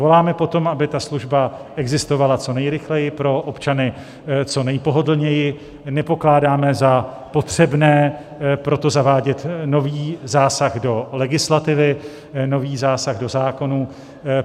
Voláme po tom, aby ta služba existovala co nejrychleji, pro občany co nejpohodlněji, nepokládáme za potřebné proto zavádět nový zásah do legislativy, nový zásah do zákonů.